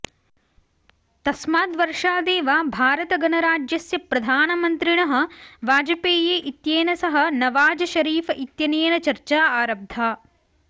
तस्मात् वर्षादेव भारतगणराज्यस्य प्रधानमन्त्रिणः वायपेयी इत्येन सह नवाज़ शरीफ इत्यनेन चर्चा आरब्धा